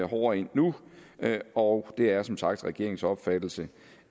hårdere ind nu og det er som sagt regeringens opfattelse